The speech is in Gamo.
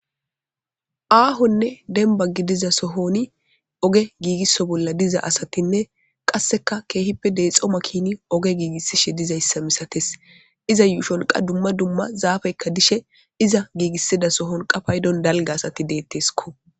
Aahonne denba gidiza sohoni oge giigisso bolla diza asatinne qasseka keehippe deexxoma kini oge giigissishe dizayssa misates iza y sholqa dumma dumma zaafeykka dishe iza giigissida sohon qa paydon dalga asati deetteskko.